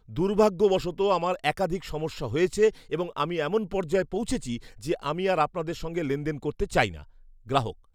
দুর্ভাগ্যবশত আমার একাধিক সমস্যা হয়েছে এবং আমি এমন পর্যায়ে পৌঁছেছি যে আমি আর আপনাদের সঙ্গে লেনদেন করতে চাই না। গ্রাহক